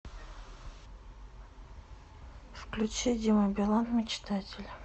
включи дима билан мечтатель